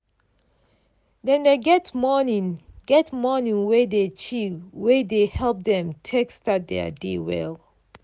dem dey get morning get morning wey dey chill wey dey help dem take start thier day well.